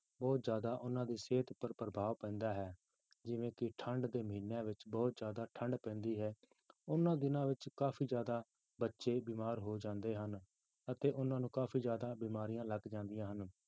ਬਹੁਤ ਜ਼ਿਆਦਾ ਉਹਨਾਂ ਦੀ ਸਿਹਤ ਉੱਪਰ ਪ੍ਰਭਾਵ ਪੈਂਦਾ ਹੈ ਜਿਵੇਂ ਕਿ ਠੰਢ ਦੇ ਮਹੀਨਿਆਂ ਵਿੱਚ ਬਹੁਤ ਜ਼ਿਆਦਾ ਠੰਢ ਪੈਂਦੀ ਹੈ, ਉਹਨਾਂ ਦਿਨਾਂ ਵਿੱਚ ਕਾਫ਼ੀ ਜ਼ਿਆਦਾ ਬੱਚੇ ਬਿਮਾਰ ਹੋ ਜਾਂਦੇ ਹਨ ਅਤੇ ਉਹਨਾਂ ਨੂੰ ਕਾਫ਼ੀ ਜ਼ਿਆਦਾ ਬਿਮਾਰੀਆਂ ਲੱਗ ਜਾਂਦੀਆਂ ਹਨ